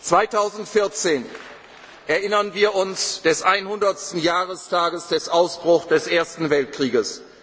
wird. 2014 erinnern wir uns des einhundertsten Jahrestages des Ausbruchs des Ersten Weltkrieges.